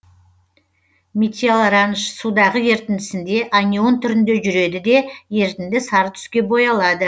метилоранж судағы ерітіндісінде анион түрінде жүреді де ерітінді сары түске боялады